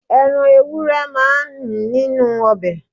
Ẹran ewúrẹ́ máa n nínú obẹ̀